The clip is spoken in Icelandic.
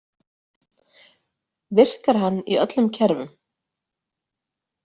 Virkar hann í öllum kerfum?